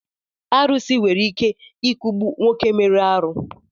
Arusi nwere ike I kugbu nwoke mere arụ